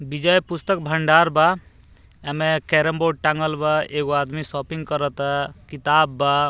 विजय पुस्तक भंडार बा एमे कैरम बोर्ड टाँगल बा एगो आदमी शॉपिंग करता किताब बा।